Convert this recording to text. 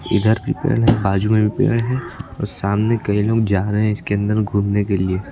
इधर भी पेड़ है बाजू में भी पेड़ है और सामने कई लोग जा रहे हैं इसके अंदर घूमने के लिए।